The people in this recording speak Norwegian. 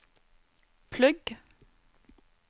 plugg